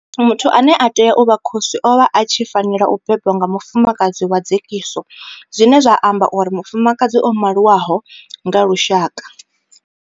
Muthu ane a tea u vha khosi o vha a tshi fanela u bebwa nga mufumakadzi wa dzekiso zwine zwa amba uri mufumakadzi o maliwaho nga lushaka.